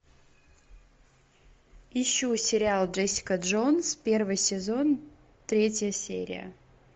ищу сериал джессика джонс первый сезон третья серия